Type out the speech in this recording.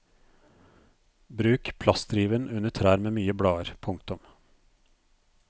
Bruk plastriven under trær med mye blader. punktum